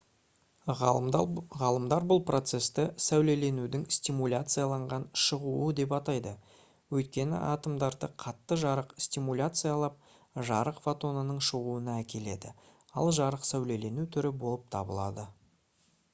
ғалымдар бұл процесті «сәулеленудің стимуляцияланған шығуы» деп атайды өйткені атомдарды қатты жарық стимуляциялап жарық фотонының шығуына әкеледі ал жарық сәулелену түрі болып табылады